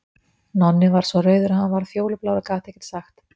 Nonni varð svo rauður að hann varð fjólublár og gat ekkert sagt.